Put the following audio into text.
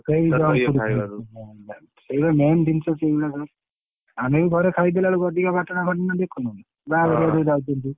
ସେଇ junk food ଖାଇବାରୁ ହଁ ସେଇଆ main ଜିନିଷ ସେଇଆ ବା ଆମେ ବି ଘରେ ଖାଇଦେଲା ବେଳକୁ ଅଧିକା ଘଟନା ଦେଖୁନୁକି ବାହାଘର ଗୋଟେ ହଁ ଯାଇକରିକି।